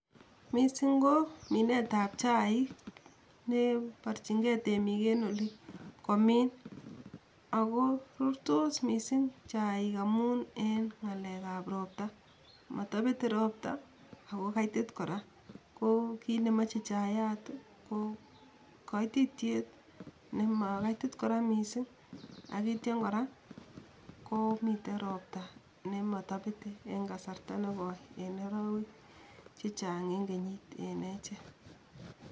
Misiing' ko minetap chaik cheporchinge temiik en oli komiin ago rurtoos misiing' chaik amun en ng'alekap ropta, matopete ropta ago kaitit kora, ko kiit nemoche chaiyat kaititiet nemakaitit kora misiing' ak ityo kora komiten ropta nematopete en kasarta negoi enarawek chechang' en kenyiit en echek